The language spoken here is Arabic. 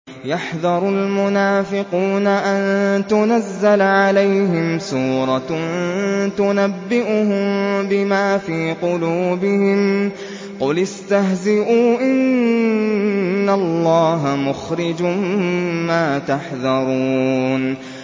يَحْذَرُ الْمُنَافِقُونَ أَن تُنَزَّلَ عَلَيْهِمْ سُورَةٌ تُنَبِّئُهُم بِمَا فِي قُلُوبِهِمْ ۚ قُلِ اسْتَهْزِئُوا إِنَّ اللَّهَ مُخْرِجٌ مَّا تَحْذَرُونَ